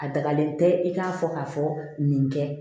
A dagalen tɛ i k'a fɔ k'a fɔ nin kɛ